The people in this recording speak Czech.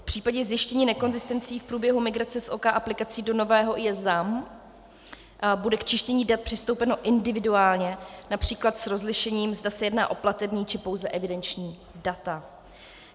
V případě zjištění nekonzistencí v průběhu migrace z OK aplikací do nového IS ZAM bude k čištění dat přistoupeno individuálně, například s rozlišením, zda se jedná o platební, či pouze evidenční data.